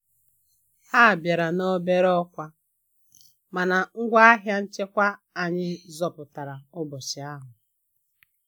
Ha bịara na obere ọkwa, mana ngwa ahịa nchekwa anyị zọpụtara ụbọchị ahụ.